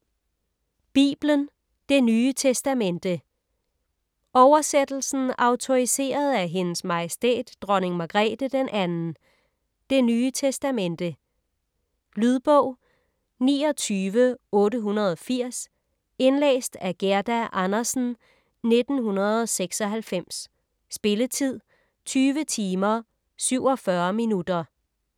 Bibelen: Det nye testamente Oversættelsen autoriseret af Hendes Majestæt Dronning Margrethe II Det nye testamente. Lydbog 29880 Indlæst af Gerda Andersen, 1996. Spilletid: 20 timer, 47 minutter.